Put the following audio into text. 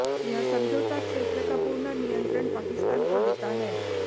यह समझौता क्षेत्र का पूर्ण नियंत्रण पाकिस्तान को देता है